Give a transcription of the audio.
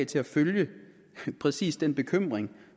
til at følge præcis den bekymring